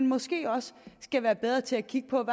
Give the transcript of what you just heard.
måske også skal være bedre til at kigge på